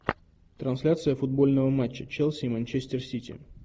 трансляция футбольного матча челси и манчестер сити